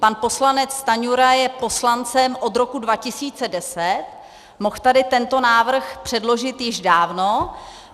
Pan poslanec Stanjura je poslancem od roku 2010, mohl tady tento návrh předložit již dávno.